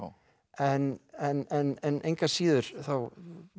en en engu að síður þá